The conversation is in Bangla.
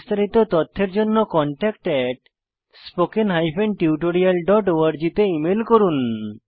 বিস্তারিত তথ্যের জন্য contactspoken tutorialorg তে ইমেল করুন